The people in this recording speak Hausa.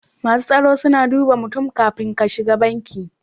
Masu tsaro suna duba mutum kafin ka shiga banki.